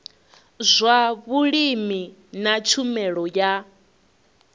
zwa vhulimi na tshumelo ya